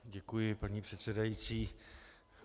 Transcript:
Děkuji, paní předsedající.